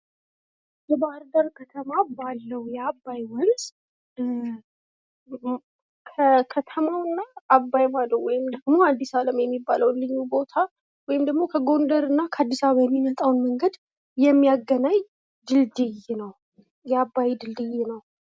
የባህርዳር ከተማ ባለው የአባይ ወንዝ ከከተማውና አባይ ማዶ ወይም አዲስ አለም የሚባለው ልዩ ቦታ ወይም ደግሞ ከጎደርና ከአዲስ አበባ የሚመጣን መንገድ የሚያገናኝ የአባይ ድልድይ ነው።